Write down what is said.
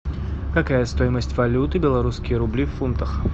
какая стоимость валюты белорусские рубли в фунтах